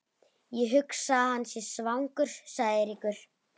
Ég hugsa að hann sé svangur sagði Eiríkur.